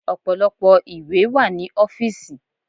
Ọ̀pọ̀lọpọ̀ ìwé wà ní ọ́fìsì.